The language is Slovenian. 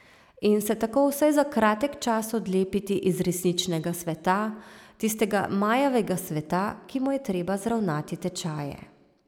In se tako vsaj za kratek čas odlepiti iz resničnega sveta, tistega majavega sveta, ki mu je treba zravnati tečaje.